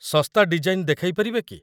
ଶସ୍ତା ଡିଜାଇନ୍‌ ଦେଖାଇପାରିବେ କି?